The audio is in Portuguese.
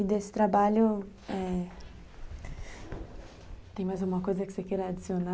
E desse trabalho, tem mais alguma coisa que você queira adicionar?